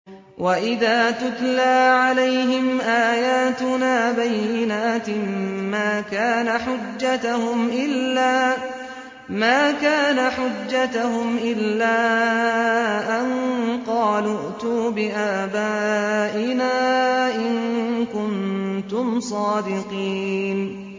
وَإِذَا تُتْلَىٰ عَلَيْهِمْ آيَاتُنَا بَيِّنَاتٍ مَّا كَانَ حُجَّتَهُمْ إِلَّا أَن قَالُوا ائْتُوا بِآبَائِنَا إِن كُنتُمْ صَادِقِينَ